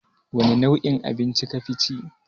Wani nau'in abinci kafi ci?